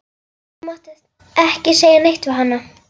Þú mátt ekki segja neitt við hana.